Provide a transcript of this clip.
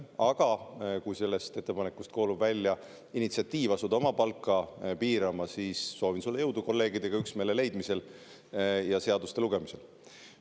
Aga kui sellest ettepanekust koorub välja initsiatiiv asuda oma palka piirama, siis soovin sulle jõudu kolleegidega üksmeele leidmisel ja seaduste lugemisel.